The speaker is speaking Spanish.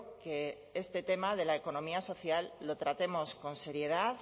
que este tema de la economía social lo tratemos con seriedad